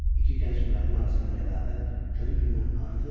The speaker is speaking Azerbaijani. İki gənc müəllim arasında rəqabət gönül gündən artır.